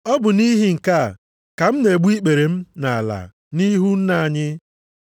Ọ bụ nʼihi nke a ka m na-egbu ikpere m nʼala nʼihu Nna anyị,